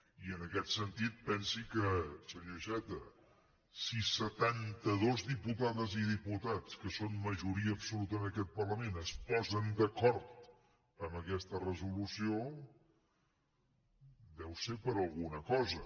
i en aquest sentit pensi que senyor iceta si setantados diputades i diputats que són majoria absoluta en aquest parlament es posen d’acord amb aquesta resolució deu ser per alguna cosa